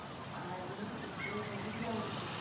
आज मैं स्कूल नहीं जाऊँगी